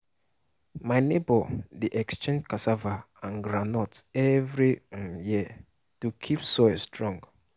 my neighbour dey exchange cassava and groundnut every um year to keep soil strong